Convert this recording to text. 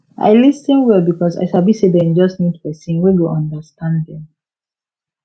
i lis ten well because i sabi say dem just need person wey go understand dem